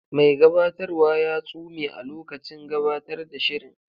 Mai gabatarwa ya tsume a lokacin gabatar da shirin.